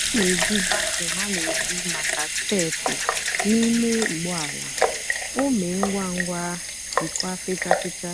ọ na-èjì vacuum a na-èjì n'àka maka steépụ́ na ímé ụ́gbọ́ àla—ọ èmé ngwá ngwá dikwà fèchàa fèchàa.